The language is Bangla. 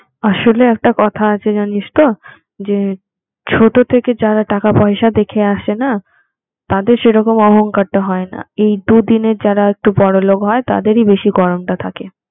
আসলে একটা কথা আছে জানিস তো যে ছোট থেকে যারা টাকা-পয়সা দেখে আসেনা তাদের সেরকম অহংকার টা হয় না এই দুদিনের যারা একটু বড়লোক হয় তাদেরই বেশি গরমটা থাকে